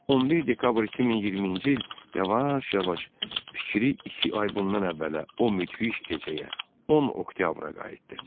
11 dekabr 2022-ci il yavaş-yavaş fikri iki ay bundan əvvələ, o müdhiş gecəyə, 10 oktyabra qayıtdı.